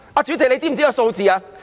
主席，你可知道數字？